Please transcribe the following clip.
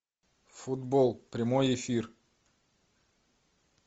футбол прямой эфир